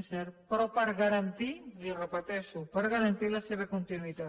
és cert però per garantir li ho repeteixo per garantir la seva continuïtat